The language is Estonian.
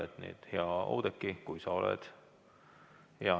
Hea Oudekki, kui sa oled.